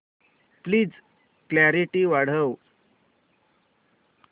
please clarity वाढव